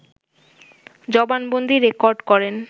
জবানবন্দী record করেন